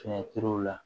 Fiɲɛ turu la